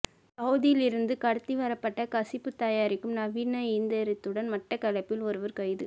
சவூதியிலிருந்து கடத்திவரப்பட்ட கசிப்பு தயாரிக்கும் நவீன இயந்திரத்துடன் மட்டக்களப்பில் ஒருவர் கைது